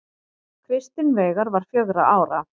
Kristinn Veigar var fjögurra ára.